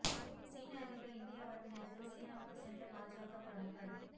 சீன அதிபர் இந்தியா வரும் நேரத்தில் சீனாவுக்கு சென்ற பாஜக பிரமுகர்